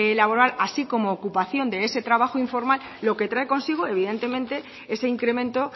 laboral así como ocupación de ese trabajo informal lo que trae consigo evidentemente ese incremento